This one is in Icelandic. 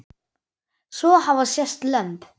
Svo hafa sést lömb.